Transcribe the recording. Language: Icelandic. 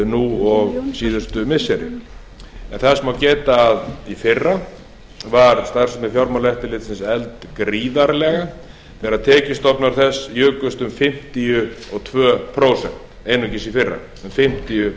nú og síðustu missiri en þess má geta að í fyrra var starfsemi fjármálaeftirlitsins efld gríðarlega þegar tekjustofnar þess jukust um fimmtíu og tvö prósent einungis í fyrra um fimmtíu